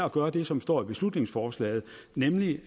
at gøre det som står i beslutningsforslaget nemlig